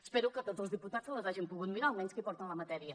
espero que tots els diputats se’ls hagin pogut mirar almenys els que porten la matèria